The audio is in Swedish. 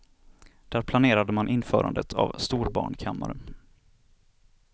Där planerade man införandet av storbarnkammare.